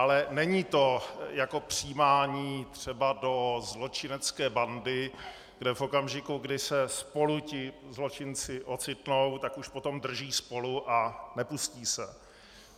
Ale není to jako přijímání třeba do zločinecké bandy, kde v okamžiku, kdy se spolu ti zločinci ocitnou, tak už potom drží spolu a nepustí se.